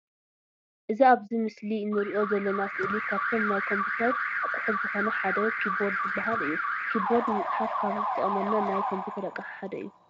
እዚ ኣብዚ ምስሊ እንርእዮ ዘለና ስእሊ ካብቶም ናይ ኮምተር ኣቆሑት ዝኮነ ሓደ ኪቦርድ ዝባሃል እዩ። ኪቦርድ ንምፅሓፍ ካብ ዝጠቅምና ናይ ኮምፒተር ኣቅሓ ሓደ እዩ።